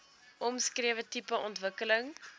omskrewe tipe ontwikkeling